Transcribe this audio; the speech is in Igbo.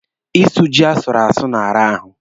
Ịsụ jị asụrụ asụ na-ara ahụ.